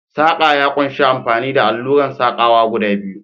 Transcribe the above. Saƙa ya ƙunshi amfani da alluran saƙawa guda biyu.